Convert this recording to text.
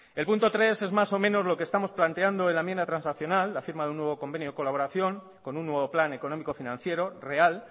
el punto tres es más o menos lo que estamos planteando en la enmienda transaccional la firma de un nuevo convenio de colaboración con un nuevo plan económico financiero real